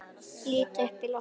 Lít upp í loftið.